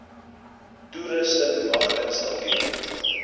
toerusting mag installeer